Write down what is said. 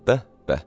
Bəh, bəh!